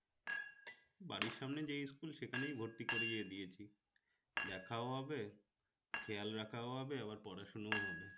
বাড়ির সামনে যেই school সেখানেই ভর্তি করিয়ে দিয়েছে দেখাও হবে খেয়াল রাখাও হবে আবার পড়াশোনাও হবে